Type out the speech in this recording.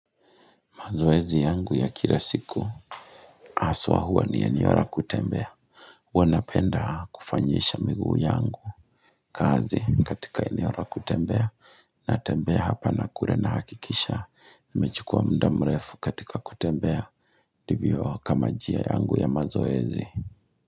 Mazoezi yangu ya kila siku haswa huwa ni eneo la kutembea. Huwa napenda kufanyisha miguu yangu kazi katika eneo la kutembea natembea hapa na kule nahakikisha nimechukua muda mrefu katika kutembea ndivyo kama njia yangu ya mazoezi.